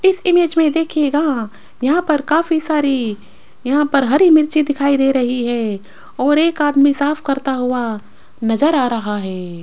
इस इमेज में देखिएगा यहां पर काफी सारी यहां पर हरी मिर्च दिखाई दे रही है और एक आदमी साफ करता हुआ नजर आ रहा है।